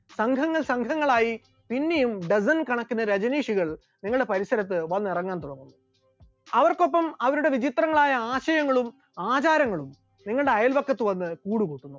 സംഘം സംഘങ്ങളായി പിന്നെയും dozen കണക്കിന് രജനീഷികൾ നിങ്ങളുടെ പരിസരത്ത് വന്നിറങ്ങാൻ തുടങ്ങും, അവർക്കൊപ്പം അവരുടെ വിചിത്രങ്ങളായ ആശയങ്ങളും ആചാരങ്ങളും നിങ്ങളുടെ അയല്പക്കത്ത് വന്ന് കൂടുകൂട്ടും.